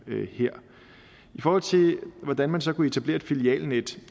i forhold til hvordan man så kunne etablere et filialnet